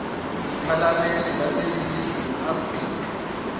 iphalamende laseningizimu afrika